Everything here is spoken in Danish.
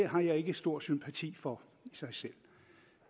jeg ikke stor sympati for i sig selv